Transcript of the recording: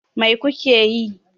Mai ku ke yi?